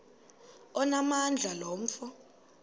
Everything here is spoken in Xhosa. onamandla lo mfo